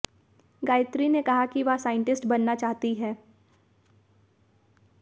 गायत्री ने कहा कि वह साइंटिस्ट बनना चाहती है